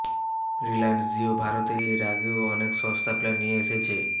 রিলায়েন্স জিও ভারতে এর আগেও অনেক সস্তা প্ল্যান নিয়ে এসেছে